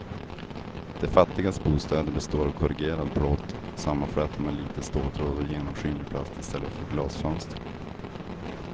De fattigas bostäder består av korrugerad plåt sammanflätad med lite ståltråd och genomskinlig plast i stället för glasfönster.